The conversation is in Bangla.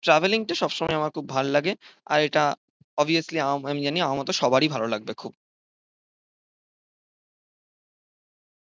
ট্রাভেলিংটা সবসময়ই আমার খুব ভালো লাগে। আর এটা অবভিয়াসলি আ আমি জানি আমার মত সবারই ভালো লাগবে খুব।